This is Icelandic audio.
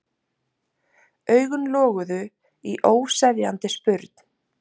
Augun loguðu í óseðjandi spurn.